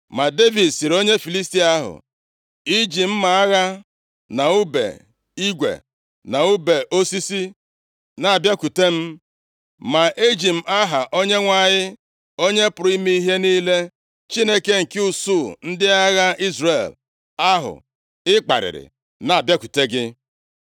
Ma Devid sịrị onye Filistia ahụ, “I ji mma agha na ùbe igwe na ùbe osisi, na-abịakwute m, ma eji m aha Onyenwe anyị, Onye pụrụ ime ihe niile, Chineke nke usuu ndị agha Izrel ahụ ị kparịrị, na-abịakwute gị.